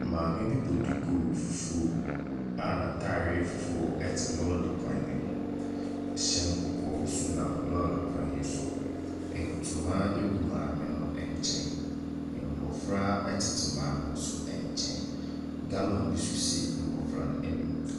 Maame bɔ duku fufuo a n'atareɛ fufuo te lɔre kwan bi ho. Hyɛn kɔkɔɔ bi nso nam lɔre kwan yi so. Ntoma gu maa no nkyɛn. Mmɔfra tete maame no nso nkyɛn. Gallon bi nso si mmɔfra no anim.